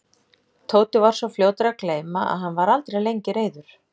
Tóti var svo fljótur að gleyma og hann var aldrei lengi reiður.